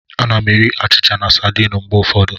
Ana m eri achịcha na sardine mgbe ụfọdụ.